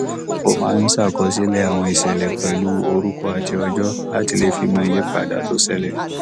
ó máa ń ṣàkọsílè àwọn ìṣẹlẹ pẹlú orúkọ àti ọjọ láti le fi mọ ìyípadà tó ṣẹlẹ